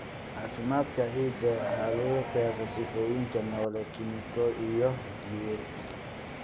Caafimaadka ciidda waxa lagu qiyaasaa sifooyinkeeda noole, kiimiko iyo jidheed.